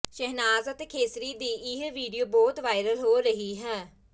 ਸ਼ਹਿਨਾਜ਼ ਅਤੇ ਖੇਸਰੀ ਦੀ ਇਹ ਵੀਡੀਓ ਬਹੁਤ ਵਾਇਰਲ ਹੋ ਰਹੀ ਹੈ